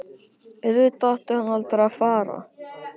Auðvitað átti hann aldrei að fara.